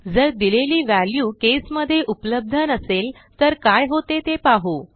जर दिलेली व्हॅल्यू केसमध्ये उपलब्ध नसेल तर काय होते ते पाहू